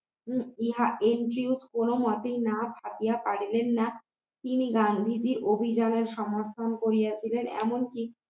কোনমতেই না ভাবিয়া পারিলেন না তিনি গান্ধীজীর অভিযানের সমর্থন করিয়াছিলেন এমনকি